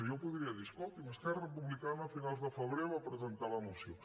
jo podria dir escolti’m esquerra republicana a finals de febrer va presentar la moció